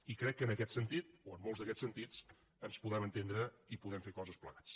i crec que en aquest sentit o en molts d’aquests sentits ens podem entendre i podem fer coses plegats